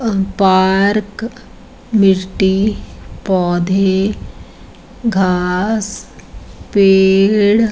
अ park मिट्टी पौधे घास पेड़ --